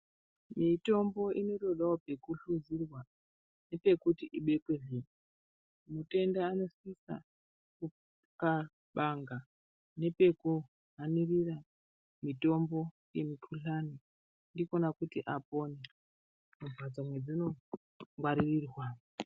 Mitombo inotodawo pekuhluzirwa nepekuti ibekwezve. Mutenda anosisa kuxabanga nepekuhanirira mitombo yemikhuhlani ndikwona kuti apone mumhatso dzainongaririrwa.